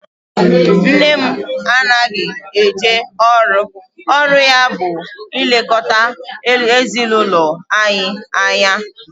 Nne m anaghị eje ọrụ, ọrụ ya bụ ilekọta ezinaụlọ anyị anya